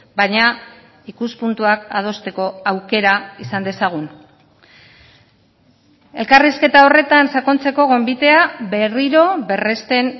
baina ikuspuntuak adosteko aukera izan dezagun elkarrizketa horretan sakontzeko gonbitea berriro berresten